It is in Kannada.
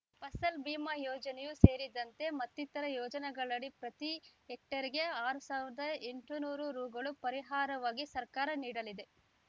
ಫಸಲ್‌ ಬಿಮಾ ಯೋಜನೆಯೂ ಸೇರಿದಂತೆ ಮತ್ತಿತರೆ ಯೋಜನೆಗಳಡಿ ಪ್ರತೀ ಹೆಕ್ಟೇರ್‌ಗೆ ಆರ್ ಸಾವಿರದ ಎಂಟುನೂರು ರು ಪರಿಹಾರವಾಗಿ ಸರ್ಕಾರ ನೀಡಲಿದೆ